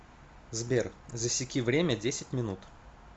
сбер засеки время десять минут